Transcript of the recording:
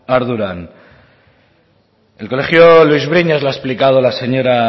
ardura el colegio luis briñas lo ha explicado la señora